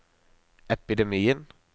epidemien